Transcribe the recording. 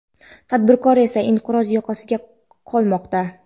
tadbirkor esa inqiroz yoqasida qolmoqda.